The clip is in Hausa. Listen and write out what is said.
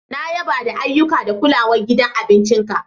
Na yaba da ayyuka da kulawan gidan abincin ka.